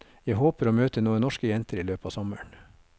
Jeg håper å møte noen norske jenter i løpet av sommeren.